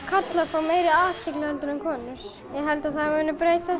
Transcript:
karlar fái meiri athygli en konur ég held að það muni breytast